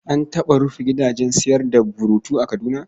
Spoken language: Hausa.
An taɓa rufe gidajen sayar da burutu a Kaduna.